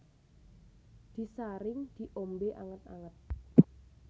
Disaring diombe anget anget